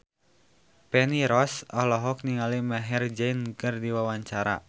Feni Rose olohok ningali Maher Zein keur diwawancara